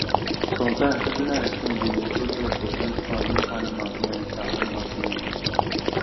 sometimes seasonal exchange dey include help to fence farm make animals no enter animals no enter